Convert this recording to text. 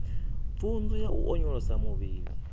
pfunzo ya u onyolosa muvhili